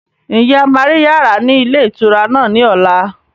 Ǹjẹ́ a máa rí yàrá ni ilé ìtura náà ni ọ̀la?